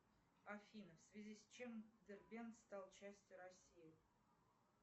афина в связи с чем дербент стал частью россии